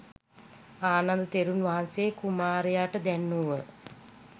ආනන්ද තෙරුන් වහන්සේ කුමාරයාට දැන්වූහ.